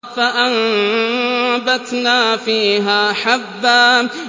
فَأَنبَتْنَا فِيهَا حَبًّا